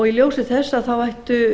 í ljósi þess ættu